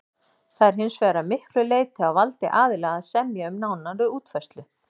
Það er hins vegar að miklu leyti á valdi aðila að semja um nánari útfærslu.